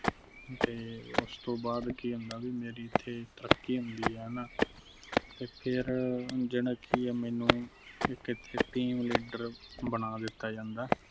ਤੇ ਉਸ ਤੋਂ ਬਾਅਦ ਕਿ ਹੁੰਦਾ ਬਾਈ ਮੇਰੀ ਇੱਥੇ ਤਰੱਕੀ ਹੁੰਦੀ ਨਾ ਤੇ ਫਿਰ ਜਿਹੜਾ ਕਿ ਆ ਮੈਨੂੰ ਇੱਥੇ team leader ਬਣਾ ਦਿੱਤਾ ਜਾਂਦਾ।